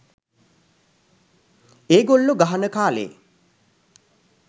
ඒගොල්ලෝ ගහන කාලේ